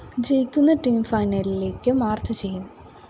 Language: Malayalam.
ജയിക്കുന്ന ടീം ഫൈനലിലേയ്ക്ക് മാർച്ച്‌ ചെയ്യും